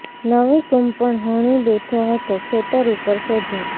નવી કૂંપણ હણી બેઠો હતો ખેતર ઉપર સેઢો